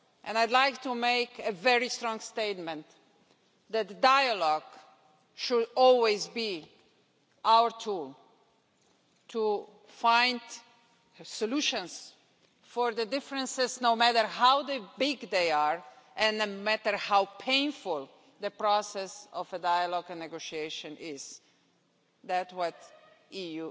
I'd like to make a very strong statement that dialogue should always be our tool to find solutions for differences no matter how big they are and no matter how painful the process of dialogue and negotiation is. This is what the EU